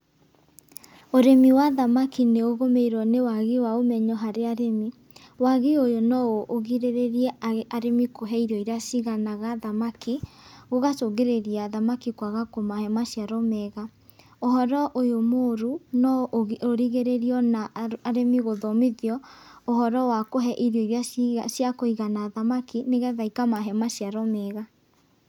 Ũrĩmi wa thamaki nĩũgumĩirwo nĩ wagĩ wa ũmenyo harĩ arĩmi, wagi ũyũ noũgĩrĩrĩrie arĩmi kũhe irio irĩa igana thamaki, gũgacũngĩrĩria thamaki kwaga kũmahe maciaro mega. Ũhoro ũyũ mũru no ũrigĩrĩrio na arĩmi gũthomithio ũhoro wa kuhe irio ciakũigana thamaki nĩgetha ikamahe maciaro mega.